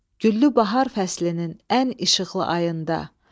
Güllü bahar fəslinin ən işıqlı ayında.